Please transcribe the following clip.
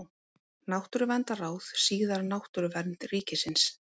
Náttúruverndarráð, síðar Náttúruvernd ríkisins.